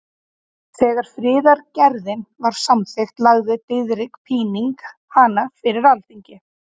Þegar friðargerðin var samþykkt lagði Diðrik Píning hana fyrir Alþingi.